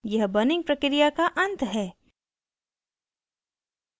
यह burning प्रक्रिया का अंत है